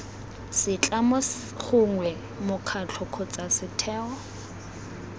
setlamo gongwe mokgatlho kgotsa setheo